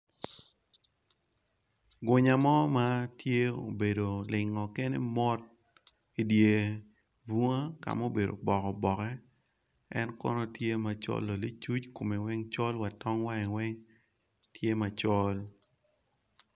Gunya mo ma obedo olingo kene mot i dye bunga ka mubedo oboke oboke en kono tye ma kume colo nicuc kume weng col wa wange weng tye macol.